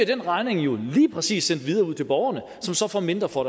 den regning jo lige præcis sendt videre ud til borgerne som så får mindre for